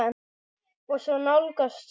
Og svo nálgast skipið.